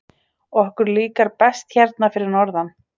Okkur líkar best hérna fyrir norðan.